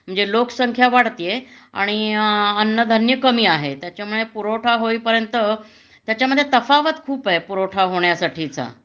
म्हणजे लोकसंख्या वाढतीये आणि अन्नधान्य कमी आहे त्याच्यामुळे पुरवठा होईपर्यंत त्याच्यामध्ये तफावत खूप आहे पुरवठा होण्यासाठीचा